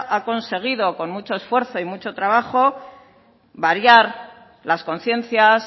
ha conseguido con mucho esfuerzo y mucho trabajo variar las conciencias